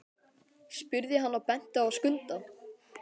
spurði hann og benti á Skunda.